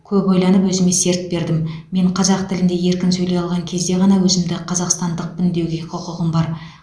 көп ойланып өзіме серт бердім мен қазақ тілінде еркін сөйлей алған кезде ғана өзімді қазақстандықпын деуге құқығым бар